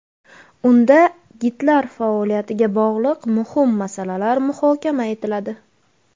Unda gidlar faoliyatiga bog‘liq muhim masalalar muhokama etiladi.